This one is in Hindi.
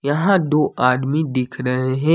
यहां दो आदमी दिख रहे है।